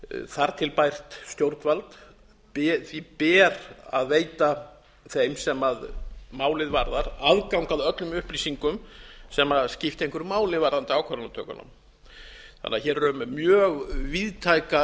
þar til bært stjórnvald ber að veita þeim sem málið varðar aðgang að öllum upplýsingum sem skipta einhverju máli varðandi ákvarðanatökuna þannig að hér er um mjög víðtæka